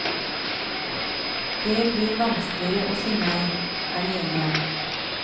Det blir vanskeligere å si nei, er de enige om.